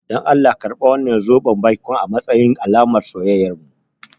Dan Allah karɓi wannan zoben baikon a matsayin alamar soyayyarmu.